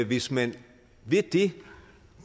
hvis man ved det